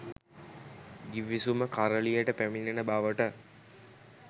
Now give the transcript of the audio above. ගිවිසුම කරළියට පැමිණෙන බවට